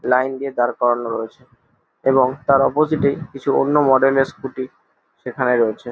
Line দিয়ে দাড় করানো রয়েছে এবং তার অপোজিট -এ কিছু অন্য মডেল এর স্ক্যুটি সেখানে রয়েছে।